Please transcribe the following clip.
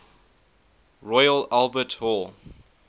royal albert hall